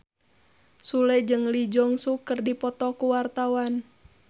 Sule jeung Lee Jeong Suk keur dipoto ku wartawan